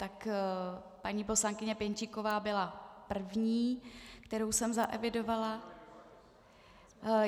Tak paní poslankyně Pěnčíková byla první, kterou jsem zaevidovala.